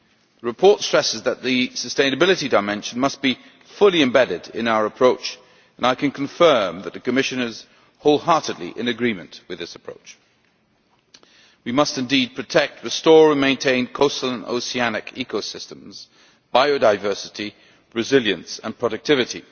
The report stresses that the sustainability dimension must be fully embedded in our approach, and I can confirm that the Commission is wholeheartedly in agreement with this approach. We must indeed protect, restore and maintain coastal and oceanic ecosystems, biodiversity, resilience and productivity,